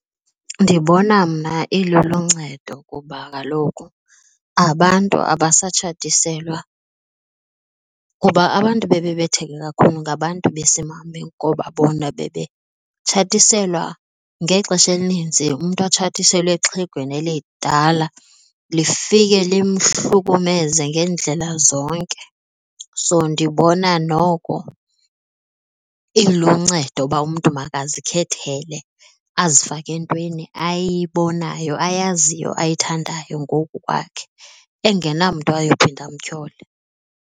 Ndibona mna iluluncedo kuba kaloku abantu abasatshatiselwa kuba abantu bebebetheka kakhulu ngabantu besimame ngoba bona bebetshatiselwa ngexesha elininzi umntu atshatiselwe exhegweni elidala lifike limhlukumeze ngeendlela zonke. So ndibona noko iluncedo uba umntu makazikhethele, azifake entweni ayibonayo ayaziyo ayithandayo ngokwakhe engenamntu ayophinda amtyhole.